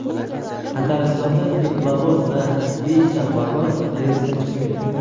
Tataristonda teplovoz va beshta vagon relsdan chiqib ketdi.